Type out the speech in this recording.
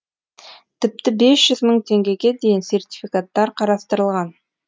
тіпті бес жүз мың теңгеге дейін сертификаттар қарастырылған